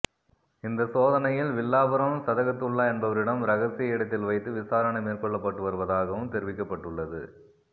இந்த சோதனையில் வில்லாபுரம் சதகத்துல்லா என்பவரிடம் ரகசிய இடத்தில் வைத்து விசாரணை மேற்கொள்ளப்பட்டு வருவதாகவும் தெரிவிக்கப்பட்டுள்ளது